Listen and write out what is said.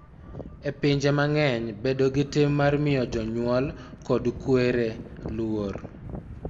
E pinje mang�eny, bedo gi tim mar miyo jonyuol kod kwere luor�